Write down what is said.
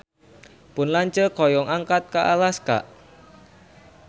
Pun lanceuk hoyong angkat ka Alaska